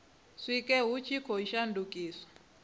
sikwe hu tshi khou shandukiswa